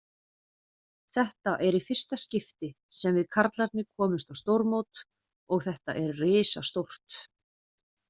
Þetta er í fyrsta skipti sem við karlarnir komumst á stórmót og þetta er risastórt.